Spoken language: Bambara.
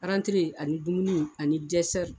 ani dumuni ani